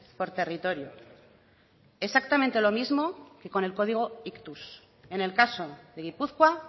por territorio exactamente lo mismo que con el código ictus en el caso de gipuzkoa